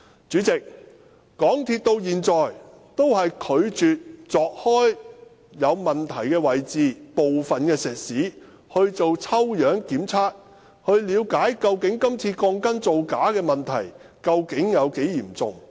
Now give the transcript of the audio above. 主席，港鐵公司至今也拒絕鑿開有問題的位置，把部分石屎作抽樣檢測，以了解今次鋼筋造假問題究竟有多嚴重。